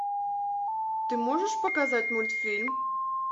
ты можешь показать мультфильм